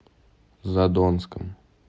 задонском